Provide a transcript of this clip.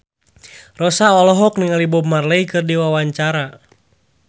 Rossa olohok ningali Bob Marley keur diwawancara